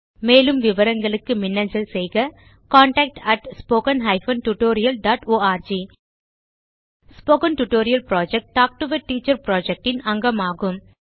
மேலும் விவரங்களுக்கு மின்னஞ்சல் செய்க contactspoken tutorialorg spoken tutorial project talk to a teacher project இன் அங்கமாகும்